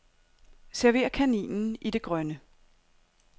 Server kaninen i det grønne.